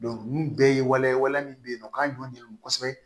ninnu bɛɛ ye waliya ye waliya min bɛ yen nɔ k'a jɔn de do kosɛbɛ